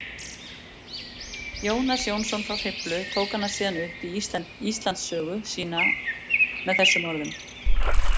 Jónas Jónsson frá Hriflu tók hana síðan upp í Íslandssögu sína með þessum orðum: